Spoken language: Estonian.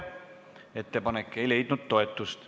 Ettepanek ei leidnud toetust.